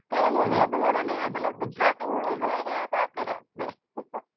કયું movie હતું હું તને યાદ અલાવું ગુજરાતી movie જોવા ગયા હતા આપણે રાત્રે